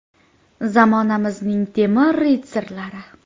Zamonamizning temir ritsarlari.